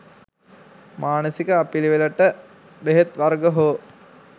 මානසික අපිළිවෙළවලට බෙහෙත් වර්ග හෝ